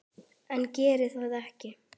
En geri það ekki.